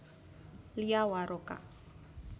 Lia Waroka